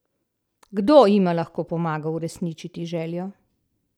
Kdo jima lahko pomaga uresničiti željo?